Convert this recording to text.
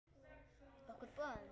Okkur báðum?